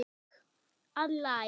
að Læk.